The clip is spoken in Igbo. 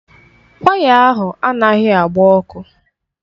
Waya ahụ anaghị agba ọkụ.